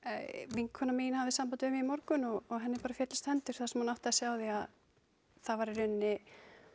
vinkona mín hafði samband við mig í morgun og henni bara féllust hendur þar sem hún áttaði sig á því að það var í rauninni